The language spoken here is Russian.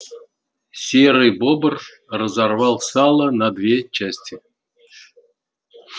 серый бобр разорвал сало на две части